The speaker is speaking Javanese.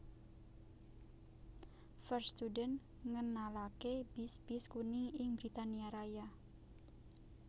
First Student ngenalaké bis bis kuning ing Britania Raya